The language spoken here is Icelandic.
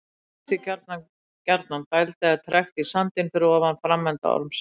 Það myndast því gjarnan gjarnan dæld eða trekt í sandinn fyrir ofan framenda ormsins.